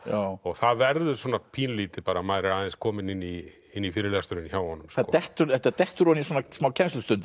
og það verður svona pínulítið bara maður er aðeins kominn inn í inn í fyrirlesturinn hjá honum þetta dettur þetta dettur ofan í smá kennslustund